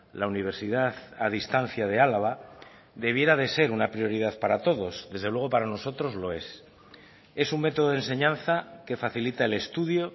la universidad a distancia de álava debiera de ser una prioridad para todos desde luego para nosotros lo es es un método de enseñanza que facilita el estudio